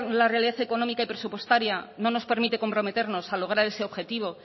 la realidad económica y presupuestaria no nos permite comprometernos a lograr ese objetivo